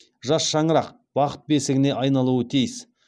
жас шаңырақ бақыт бесігіне айналуы тиіс